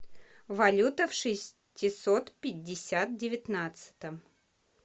валюта в шестисот пятьдесят девятнадцатом